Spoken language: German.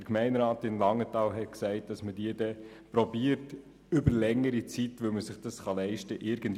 Der Gemeinderat von Langenthal beabsichtigt, diese Lücke über längere Zeit zu schliessen, weil man sich das leisten kann.